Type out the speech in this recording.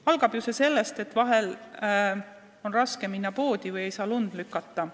Algab see kõik sellest, et vahel on raske minna poodi või ei jõua lund lükata.